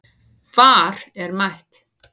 VAR er mætt